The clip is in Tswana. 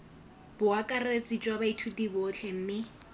boakaretsi jwa baithuti botlhe mme